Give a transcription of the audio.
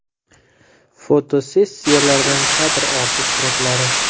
Fotosessiyalardan kadr orti suratlari.